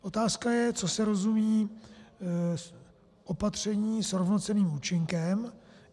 Otázka je, co se rozumí opatřeními s rovnocenným účinkem.